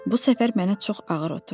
Bu səfər mənə çox ağır oturdu.